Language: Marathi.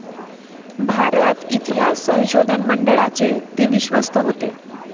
भारत इतिहास संशोधन मंडळाचे ते विश्वस्त होते.